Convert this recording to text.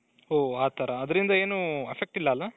ಓ ಅತರ ಅದರಿಂದ ಏನೂ effect ಇಲ್ಲಾ ಅಲ್ಲ?